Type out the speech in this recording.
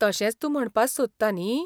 तशेंच तूं म्हणपास सोदता न्ही?